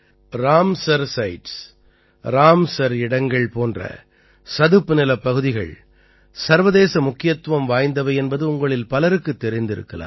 Ramsar sites Ramsar இடங்கள் போன்ற சதுப்புநிலப் பகுதிகள் சர்வதேச முக்கியத்துவம் வாய்ந்தவை என்பது உங்களில் பலருக்குத் தெரிந்திருக்கலாம்